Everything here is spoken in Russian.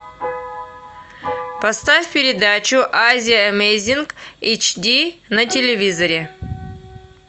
поставь передачу азия эмейзинг эйч ди на телевизоре